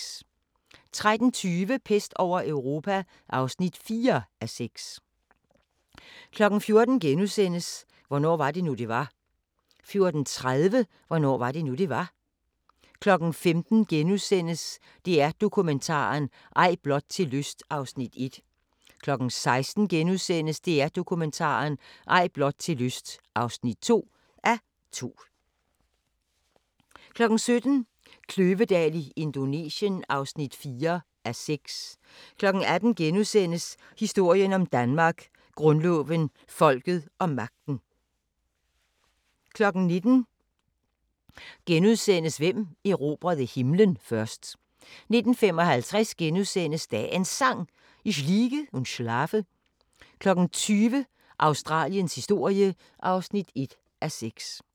13:20: Pest over Europa (4:6) 14:00: Hvornår var det nu, det var? * 14:30: Hvornår var det nu, det var? 15:00: DR Dokumentaren – Ej blot til lyst (1:2)* 16:00: DR Dokumentaren – Ej blot til lyst (2:2)* 17:00: Kløvedal i Indonesien (4:6) 18:00: Historien om Danmark: Grundloven, folket og magten * 19:00: Hvem erobrede himlen først? * 19:55: Dagens Sang: Ich liege und schlafe * 20:00: Australiens historie (1:6)